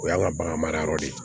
O y'an ka bagan mara yɔrɔ de ye